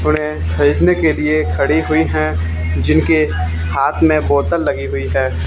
खरीदने के लिए खड़ी हुई हैं जिनके हाथ मे बोतल लगी हुई है।